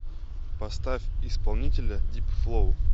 поставь исполнителя дипфлоу